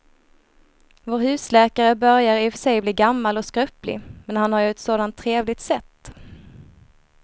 Vår husläkare börjar i och för sig bli gammal och skröplig, men han har ju ett sådant trevligt sätt!